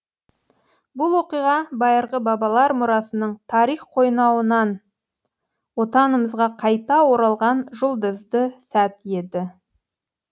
бұл оқиға байырғы бабалар мұрасының тарих қойнауынан отанымызға қайта оралған жұлдызды сәт еді